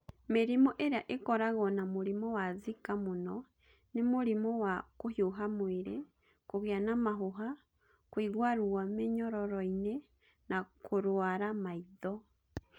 Mĩrimũ ĩrĩa ĩkoragwo na mũrimũ wa Zika mũno nĩ mũrimũ wa kũhiũha mwĩrĩ, kũgĩa na mahũha, kũigua ruo mĩnyororo-inĩ, na kũrũara maitho.